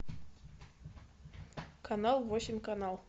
канал восемь канал